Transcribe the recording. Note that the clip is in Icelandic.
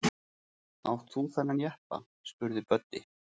Átt þú þennan jeppa? spurði Böddi.